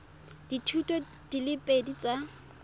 dithuto di le pedi tsa